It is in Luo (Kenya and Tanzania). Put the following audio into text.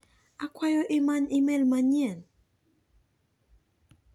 Akwayo imany imel manyien?